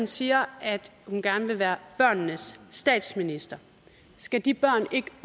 siger at hun gerne vil være børnenes statsminister skal de børn ikke